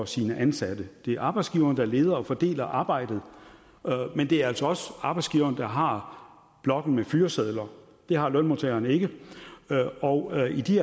sine ansatte det er arbejdsgiveren der leder og fordeler arbejdet men det er altså også arbejdsgiveren der har blokken med fyresedler det har lønmodtageren ikke og i de